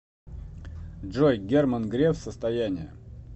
джой герман греф состояние